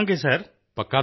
ਹਾਂ ਦੱਸਾਂਗੇ ਸਰ